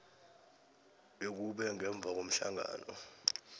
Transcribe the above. bekube ngemva komhlangano